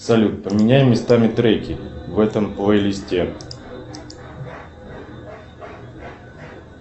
салют поменяй местами треки в этом плейлисте